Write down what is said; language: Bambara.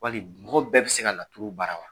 Wali mɔgɔ bɛɛ bɛ se ka laturu baara wa?